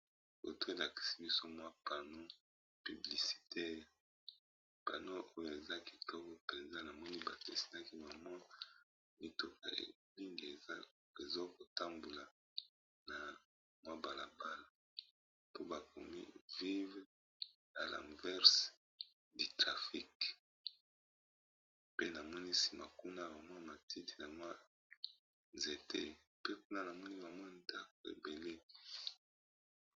Photo elakisi biso pano publicitaires, ekomami vivre en l'envers du traffic, pano eza likolo na se balabala ,na mopanzi ba nzete.